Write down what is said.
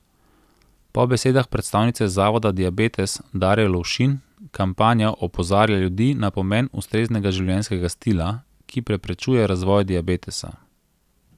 Po besedah predstavnice Zavoda Diabetes Darje Lovšin kampanja opozarja ljudi na pomen ustreznega življenjskega stila, ki preprečuje razvoj diabetesa.